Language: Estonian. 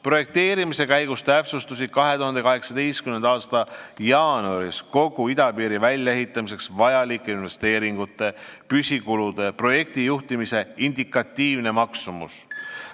Projekteerimise käigus täpsustus 2018. aasta jaanuaris kogu idapiiri väljaehitamiseks vajalike investeeringute, püsikulude ja projektijuhtimise indikatiivne maksumus.